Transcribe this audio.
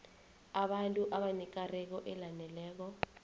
abantu abanekareko elaneleko